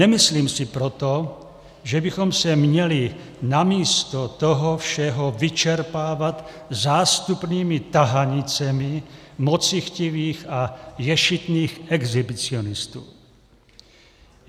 Nemyslím si proto, že bychom se měli místo toho všeho vyčerpávat zástupnými tahanicemi mocichtivých a ješitných exhibicionistů.